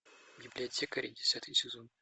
библиотекари десятый сезон